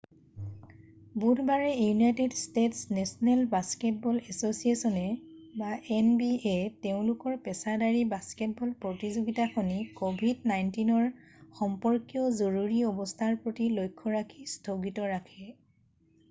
বুধবাৰে United States National Basketball এছ’চিয়েশ্যনে nba তেওঁলোকৰ পেছাদাৰী বাস্কেটবল প্ৰতিযোগিতাখনি covid-19 সম্পৰ্কীয় জৰুৰী অৱস্থাৰ প্ৰতি লক্ষ্য ৰাখি স্থগিত ৰাখে।